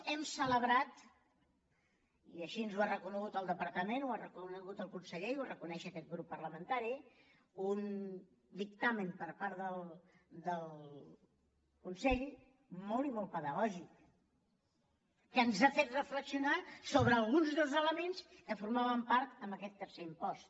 hem celebrat i així ens ho ha reconegut el departament ho ha reconegut el conseller i ho reconeix aquest grup parlamentari un dictamen per part del consell molt i molt pedagògic que ens ha fet reflexionar sobre alguns dels elements que formaven part d’aquest tercer impost